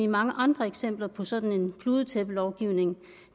mange andre eksempler på sådan en kludetæppelovgivning